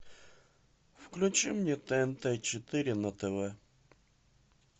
включи мне тнт четыре на тв